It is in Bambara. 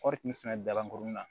Kɔɔri kun fana dabankurunin na